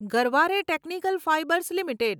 Garware technical fibres limited